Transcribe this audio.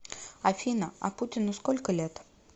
афина а путину сколько лет